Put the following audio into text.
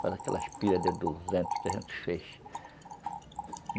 Faz aquelas pilhas de duzentos, trezentos feixes.